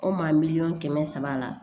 O maa miliyɔn kɛmɛ saba la